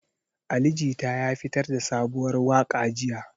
Ali Jita ya fitar da sabuwar waka jiya.